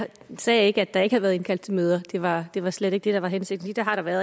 sagde ikke at der ikke havde været indkaldt til møder det var det var slet ikke det der var hensigten det har der været